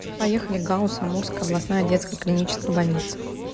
поехали гауз амурская областная детская клиническая больница